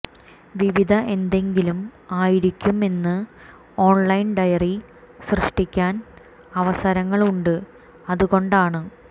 വിവിധ എന്തെങ്കിലും ആയിരിക്കും എന്ന് ഓൺലൈൻ ഡയറി സൃഷ്ടിക്കാൻ അവസരങ്ങളുണ്ട് അതുകൊണ്ടാണ്